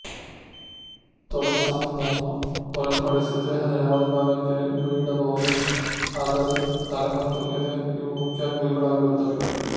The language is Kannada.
ತೊಡೆಸಂದನ್ನು ಹೊರತುಪಡಿಸಿ ದೇಹದ ಯಾವುದೇ ಭಾಗಕ್ಕೆ ಗುರಿಯಿಡಬಹುದು ಆದರೆ ತಲೆ ಮತ್ತು ಎದೆ ಇವು ಮುಖ್ಯ ಗುರಿಗಳಾಗಿರುತ್ತವೆ